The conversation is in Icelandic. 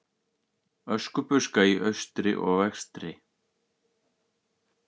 Öskubuska í austri og vestri.